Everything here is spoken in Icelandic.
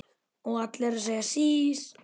Og allir að segja sís!